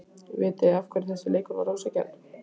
Vitiði af hverju þessi leikur var ósanngjarn?